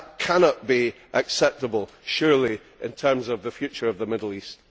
That cannot be acceptable surely, in terms of the future of the Middle East.